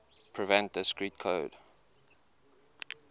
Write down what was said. prevent discrete code